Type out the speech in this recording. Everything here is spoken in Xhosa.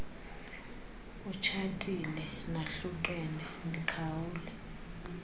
utshatile nahlukene niqhawule